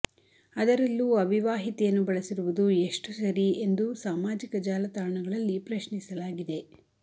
ಅದರಲ್ಲೂ ಅವಿವಾಹಿತೆಯನ್ನು ಬಳಸಿರುವುದು ಎಷ್ಟು ಸರಿ ಎಂದು ಸಾಮಾಜಿಕ ಜಾಲ ತಾಣಗಳಲ್ಲಿ ಪ್ರಶ್ನಿಸಲಾಗಿದೆ